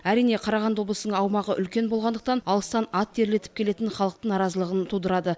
әрине қарағанды облысының аумағы үлкен болғандықтан алыстан ат терлетіп келетін халықтың наразылығын тудырады